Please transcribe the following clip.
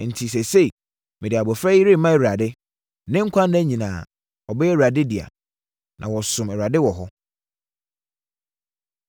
Enti, seesei, mede abɔfra yi rema Awurade. Ne nkwa nna nyinaa, ɔbɛyɛ Awurade dea.” Na wɔsomm Awurade wɔ hɔ.